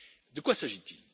De quoi s'agit il?